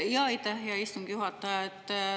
Aitäh, hea istungi juhataja!